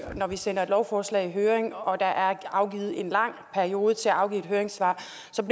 jeg når vi sender et lovforslag i høring og der er afsat en lang periode til at afgive høringssvar